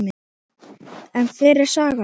En hver er sagan?